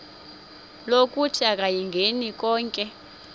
lokuthi akayingeni konke